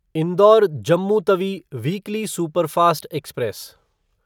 Indore Jammu Tawi weekly superfast express